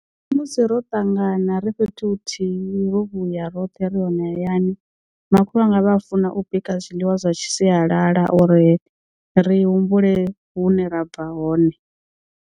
Musi ro ṱangana ri fhethu huthihi ro vhuya roṱhe ri hone hayani makhulu wanga vha a funa u bika zwiḽiwa zwa sialala uri ri humbule hune ra bva hone.